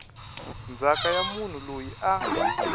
ndzhaka ya munhu loyi a